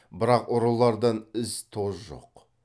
бірақ ұрылардан із тоз жоқ